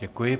Děkuji.